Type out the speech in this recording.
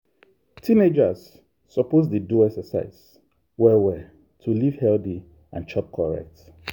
teenagers suppose dey do exercise well well to live healthy and chop correct.